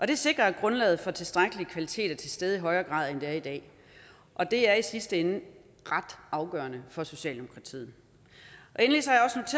det sikrer at grundlaget for tilstrækkelig kvalitet er til stede i højere grad end det er i dag og det er i sidste ende ret afgørende for socialdemokratiet endelig